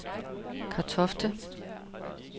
Kartofte